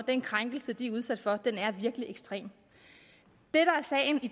er krænkelsen virkelig ekstrem